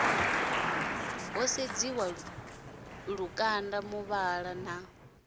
ho sedziwa lukanda muvhala na